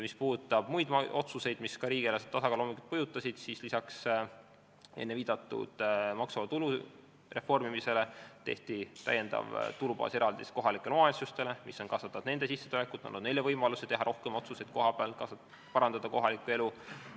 Mis puudutab muid otsuseid, mis ka riigieelarve tasakaalu mõjutasid, siis lisaks enne viidatud maksuvaba tulu reformile tehti eraldi täiendav tulubaas kohalikele omavalitsustele, mis on kasvatanud nende sissetulekut, andnud neile võimaluse teha rohkem otsuseid kohapeal, et parandada kohalikku elu.